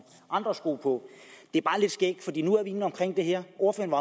andre sko på det er bare lidt skægt at vi nu er inde omkring det her ordføreren